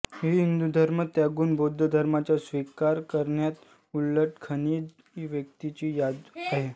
ही हिंदू धर्म त्यागून बौद्ध धर्माचा स्वीकार करणाऱ्या उल्लेखनीय व्यक्तींची यादी आहे